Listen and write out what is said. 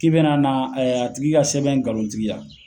K'i bena na a tigi ka sɛbɛn ngalontigiya